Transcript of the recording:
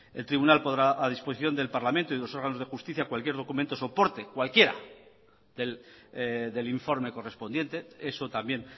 el tribunal pondrá a disposición del parlamento y de los órganos de justicia cualquier documento o soporte del informe correspondiente eso también